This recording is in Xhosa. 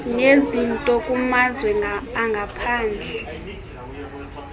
nezinto kumazwe angaphandle